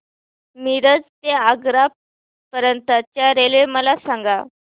मिरज ते आग्रा पर्यंत च्या रेल्वे मला सांगा